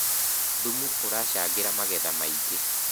thumu ũracangira magetha maĩngi